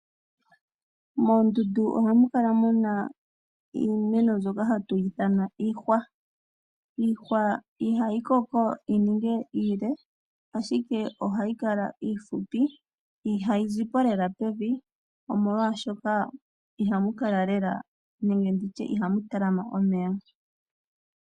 Moondundu ohamu kala mu na iimeno mbyoka hatu yi ithana iihwa . Iihwa ihayi koko yi ninge iile. Ashike ohayi kala iifupi. Ihayi zi po lela pevi, molwaashoka ihamu talama omeya.